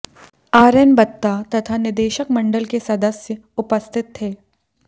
RN Batta तथा निदेशक मंडल के सदस्य उपस्थित थे